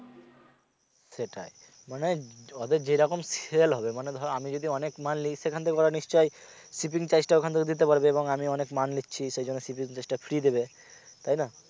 সেটাই মানে এদের যেরকম sell হবে মানে ধরো আমি যদি অনেক মাল নেই সেখান থেকে ওরা নিশ্চয়ই shipping charge টা ওখান থেকে দিতে পারবে এবং আমি অনেক মাল নিচ্ছি সেইজন্য shipping charge টা free দিবে তাই না